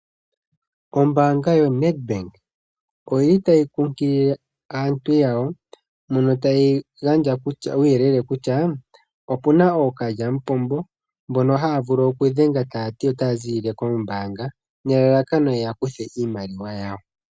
Ombaanga yo Nedbank oyili tayi kunkilile aantu yawo mono tayi gandja uuyelele kutyaa, opuna ookalyamupombo mbono haa vulu okudhenga taati otaa ziilile kombaanga nelalakano yeya kuthwa iimaliwa yawo.